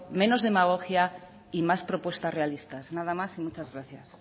menos demagogia y más propuestas realistas nada más y muchas gracias